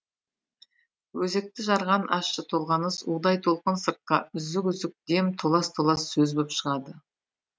өзекті жарған ащы толғаныс удай толқын сыртқа үзік үзік дем толас толас сөз боп шығады